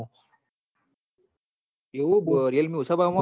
એવું હ realme ઓંસા ભાવ મો આલ